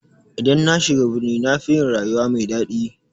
I dan nashiga birni nafi yin rayuwa mai daɗi.